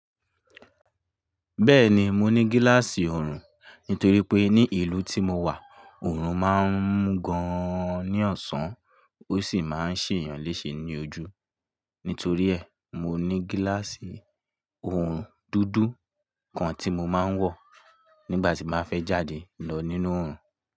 Bẹ́ẹ̀ni, mo ní gíláàsì oorun nítorí pé ní ìlú tí mo wà, oorun máa ń mu gan an ní ọ̀sán ó sì máa ń ṣè eeyàn léṣe ní ojú. Nítorí ẹ̀, mo ní gíláàsì oorun dúdú kan tí mo máa ń wọ̀ nígbà tí n ba fẹ́ jáde lọ nínú oorun.